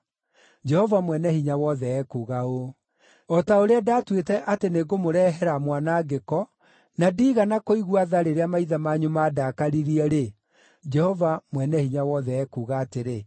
Jehova Mwene-Hinya-Wothe ekuuga ũũ: “O ta ũrĩa ndaatuĩte atĩ nĩngũmũrehere mwanangĩko, na ndiigana kũigua tha rĩrĩa maithe manyu mandakaririe-rĩ,” Jehova Mwene-Hinya-Wothe ekuuga atĩrĩ,